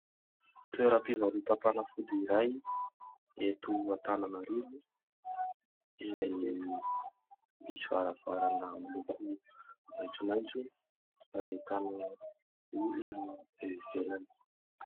Toeram-pivarotam-panafody iray eto Antananarivo izay misy varavarana miloko maitsomaitso. Ahitana olona eo ivelany.